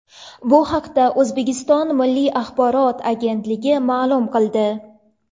Bu haqda O‘zbekiston Milliy axborot agentligi ma’lum qildi .